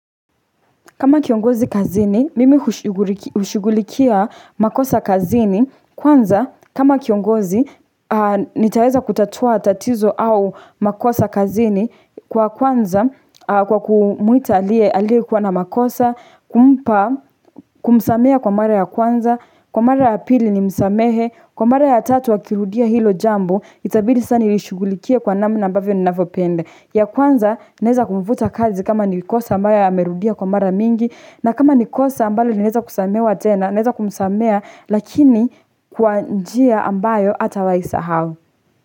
Kama kiongozi kazini, mimi hushughulikia makosa kazini, kwanza kama kiongozi, nitaeza kutatua tatizo au makosa kazini kwa kwanza, kwa kumwita aliye kuwa na makosa, kumpa, kumsamehea kwa mara ya kwanza, kwa mara ya pili ni msamehe, kwa mara ya tatu wakirudia hilo jambo, itabili saa nilishigulikia kwa namna ambavyo ni nanavyopenda ya kwanza naeza kumfuta kazi kama ni kosa ambayo ya merudia kwa mara mingi na kama ni kosa ambayo linaeza kusamewa tena neza kumsamea lakini kwa njia ambayo hatawai sahau.